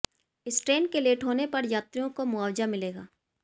इस ट्रेन के लेट होने पर यात्रियों को मुआवजा मिलेगा